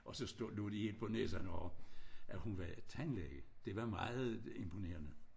Og så stod lod de imponere sig når at hun var tandlæge det var meget imponerende